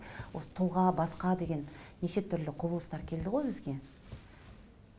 осы тұлға басқа деген неше түрлі құбылыстар келді ғой бізге